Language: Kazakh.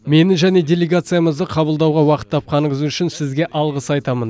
мені және делегациямызды қабылдауға уақыт тапқаныңыз үшін сізге алғыс айтамын